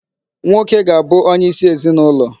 Nwoke ga-abụ onye isi ezinụlọ.